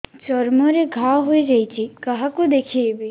ଚର୍ମ ରେ ଘା ହୋଇଯାଇଛି କାହାକୁ ଦେଖେଇବି